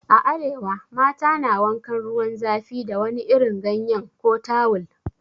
A arewa, mata na wankan ruwan zafi da wani irin ganyen ko tawul.